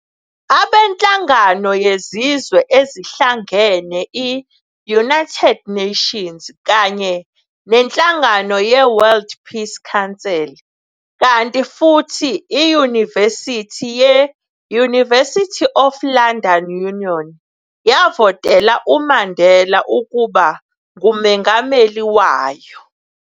Abanhlangano yezizwe ezihlangane i-United Nations kanye nenhlangano ye-World Peace Council, kanti futhi iyunivesithi ye-University of London Union yavoteoa uMandela ukuba nguMongameli wayo.